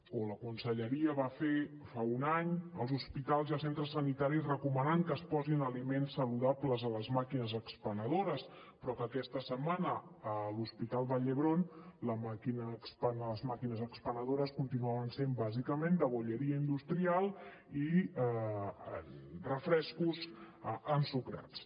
o la conselleria va fer fa un any als hospitals i als centres sanitaris recomanant que es posin aliments saludables a les màquines expenedores però que aquesta setmana a l’hospital vall d’hebron les màquines expenedores continuaven sent bàsicament de bollería industrial i refrescos ensucrats